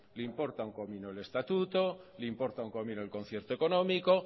le importa un comino el estatuto le importa un comino el concierto económico